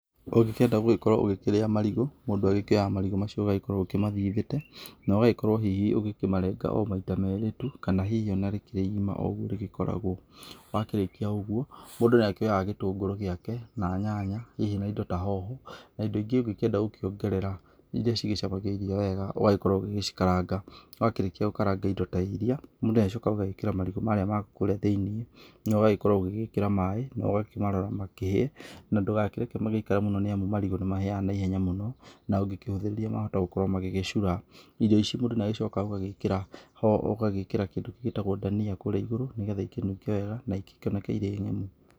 Ũngĩkenda gũgĩkorwo ũgĩkĩrĩa marigũ mũndũ oyaga marigũ macio ũgagĩkorwo ũkĩmathigĩte na ũgagĩkorwo hihi ũkĩmarenga o maĩta merĩ tũ kana hĩhĩ rĩgagĩkorwo rĩ ĩgĩma o ũgũo hihi rĩkoragwo , wakĩrĩkia ũgũo mũndũ nĩakĩoyaga gĩtũngũrũ gĩake na nyanya hihi na indo ta hoho na ĩndo ĩngĩ ũngĩkĩenda gũgĩkĩongerera ĩrĩa cigĩcamagia irio wega ũgagĩkorwo ũgĩgĩcikaranga wakĩrĩkĩa gũkaranga ĩndo ta irĩa mũndũ nĩa gĩcokaga agagĩkĩra marigũmarĩa makũrĩa thĩinĩ no ũgagĩkorwo ũgĩgĩkĩra maĩ no ũgakĩmarora magĩkĩhĩe ndũgagĩkĩreke makorwo magĩikare mũno nĩamũ marigũ nĩmahĩaga na ihenya mũno na ũngĩkĩhũthĩrĩria mahota gũkorwo magĩgĩcũra ĩrio icĩ mũndũ nĩa agĩcokaga ũgagĩkĩra ũgagĩkĩra kĩndũ kĩngĩ gĩtagwo dania gũkũ igũrũ nĩgathe igĩkĩnũnge wega na ikĩonekane irĩ ng'emũ.